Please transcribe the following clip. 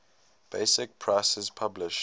basic prices published